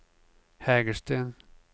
Hägersten